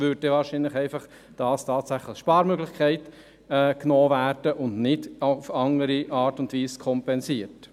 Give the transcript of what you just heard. Es würde wahrscheinlich einfach eine Sparmöglichkeit genutzt, und es würde nicht auf die eine oder andere Weise kompensiert.